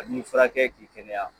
An b'i furakɛ k'i kɛnɛya